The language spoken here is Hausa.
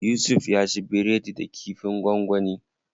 Yusuf ya ci biredi da kifin gwangwani.